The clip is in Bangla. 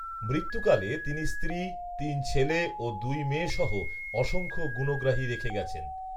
মৃত্যুকালে তিনি স্ত্রী, তিন ছেলে ও দুই মেয়েসহ অসংখ্য গুণগ্রাহী রেখে গেছেন